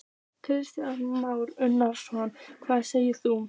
Kristján Már Unnarsson: Hvað segir þú?